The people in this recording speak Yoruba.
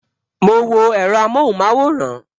Mo wo èro amohunmaworan